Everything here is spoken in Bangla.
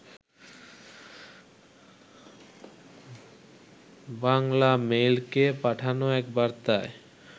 বাংলামেইলকে পাঠানো এক বার্তায়